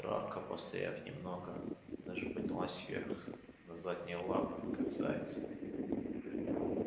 травка постояв немного даже поднялась вверх на задние лапы как заяц